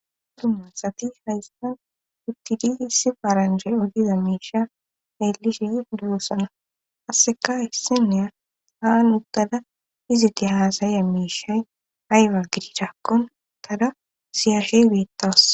dumma asati haystan uittidi issi faaranje odiza miisha xilishshi dossana asseka issineya haa uttada iziti haasaya miishay ayba gidichakkon tara siyaashe betawus